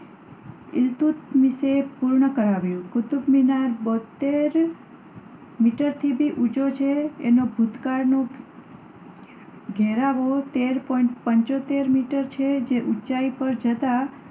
ઈન્નુત્ક્રીશે પૂર્ણ કરાવ્યું. કુતુબમિનાર બોતેર point પાંચ મીટર ઊંચો છે. એનો ભૂતકાળનો ઘેરાવો તેર point પંચોતેર મીટર છે. જે ઊંચાઈ પર જતાં